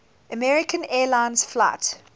american airlines flight